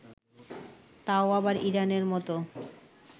তাও আবার ইরানের মতো